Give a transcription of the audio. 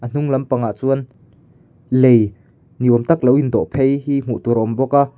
a hnung lampang ah chuan lei ni awm tak lo in dawh phei hi hmuh tur a awm bawk a.